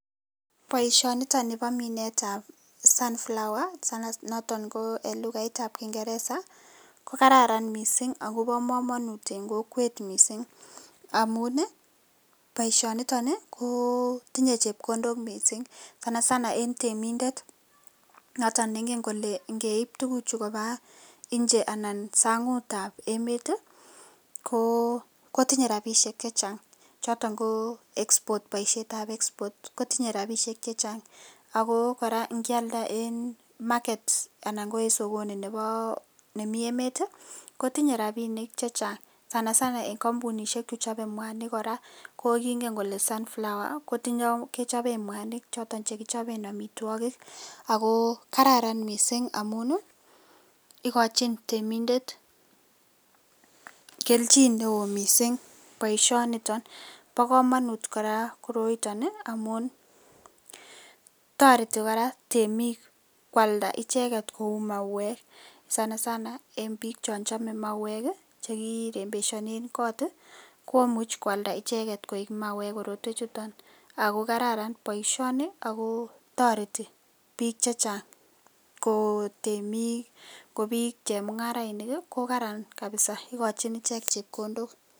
Baishoni niton Nebo Minet ab s unflower sanasana noton en lugait ab kingeresa kokararan mising ako kamanut en kokwet mising amun baishoni ko tinye chepkondok mising sanasana en temindet noton nengen Kole ngeip tuguk Chu ngopa nje anan sang tab emet kotinye rabishiek chechang choton ko export baishet ab export akotinye rabishek chechang ako koraa ingialda en market anan ko en sokono Nebo Nemo emet ko tinye rabinik chechang sanasana en kambunishek xhechobe mwanik koraa kokingen Kole sunflower kechoben mwanik Che choton chekichoben amitagik Aki kararan mising amun ikochin temindet keljin neon mising baishoniton ako ba kamanut koraa koroiton amun tareti koraa temik kwalda icheken Kou mauwek sanasana en bik Cho chome mawek chekirembeshanen kot komuch kwalda icheken koik mawek koroiton akokararan baishoni ako tareti bik chechang ko temik , kobik chemungarainik ko kararan kabisa akokachin ichek chepkondok